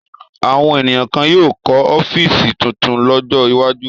Àwọn ènìyàn kan yóò kọ́ ọ́fíísì tuntun lọ́jọ́ iwájú.